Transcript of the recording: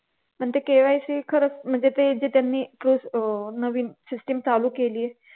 पण ते KYC खरंच म्हणजे ते जे त्यांनी अह नवीन system चालू केली आहे